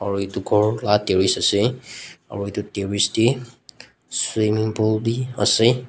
aru etu ghor la terrace ase aro etu terrace de swimming pool b ase.